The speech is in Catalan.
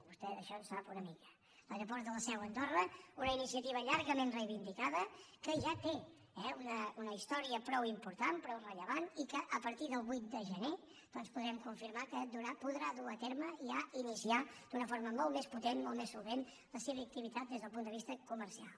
vostè d’això en sap una mica l’aeroport de la seu andorra una iniciativa llargament reivindicada que ja té una història prou important prou rellevant i que a partir del vuit de gener doncs podrem confirmar que podrà dur a terme i ja iniciar d’una forma molt més potent molt més solvent la seva activitat des del punt de vista comercial